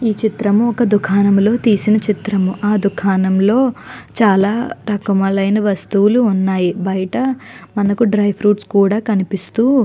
ఈ చిత్రం ఒక దుకాణంలో తీసిన చిత్రాము ఆ దుకాణంలో చాలా రకములైన వస్తువులు ఉన్నాయి బయట మనకు డ్రై ఫ్రూట్స్ కూడా కనిపిస్తూ --